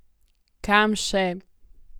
Kam še?